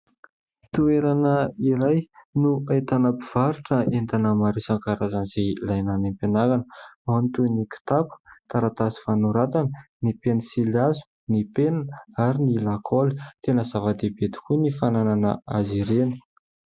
Toerana iray no ahitana mpivarotra entana maro isan-karazany izay ilaina any ampianarana ao ny toy ny kitapo, ny taratasy fanoratana, ny pensilihazo, ny penina ary ny lakôly ; tena zava-dehibe tokoa ny fananana azy ireny.